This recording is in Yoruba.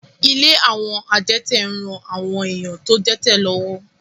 Ilé àwọn adẹ́tẹ̀ ń ran àwọn èèyàn tó dẹ́tẹ̀ lọ́wọ́